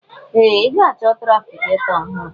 Ee! Ị ga-achọ trafigetọ ọhụrụ.